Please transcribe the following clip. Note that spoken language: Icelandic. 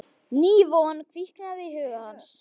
Ný von kviknaði í huga hans.